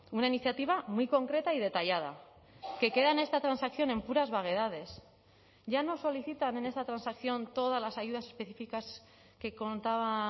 una iniciativa muy concreta y detallada que queda en esta transacción en puras vaguedades ya no solicitan en esta transacción todas las ayudas específicas que contaba